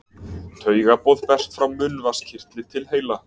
Taugaboð berst frá munnvatnskirtli til heila.